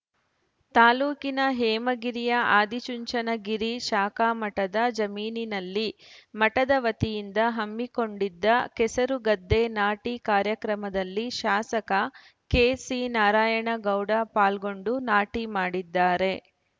ತಾಲೂಕಿನ ಹೇಮಗಿರಿಯ ಆದಿಚುಂಚನಗಿರಿ ಶಾಖಾಮಠದ ಜಮೀನಿನಲ್ಲಿ ಮಠದವತಿಯಿಂದ ಹಮ್ಮಿಕೊಂಡಿದ್ದ ಕೆಸರು ಗದ್ದೆ ನಾಟಿ ಕಾರ್ಯಕ್ರಮದಲ್ಲಿ ಶಾಸಕ ಕೆಸಿನಾರಾಯಣಗೌಡ ಪಾಲ್ಗೊಂಡು ನಾಟಿ ಮಾಡಿದ್ದಾರೆ